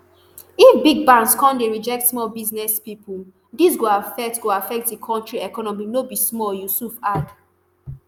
"if big banks come dey reject small business pipo dis go affect go affect di kontri economy no be small" yusuf add.